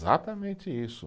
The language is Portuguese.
isso.